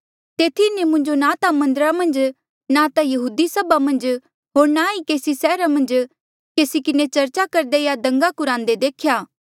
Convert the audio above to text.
तेथी इन्हें मुंजो ना ता मन्दरा मन्झ ना ता यहूदी सभा मन्झ होर ना ई केसी सैहरा मन्झ केसी किन्हें चर्चा करदे या दंगा कुरांदे देख्या